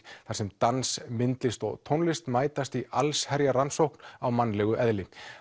þar sem dans myndlist og tónlist mætast í allsherjarrannsókn á mannlegu eðli